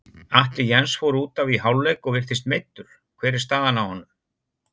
Atli Jens fór útaf í hálfleik og virtist meiddur, hver er staðan á honum?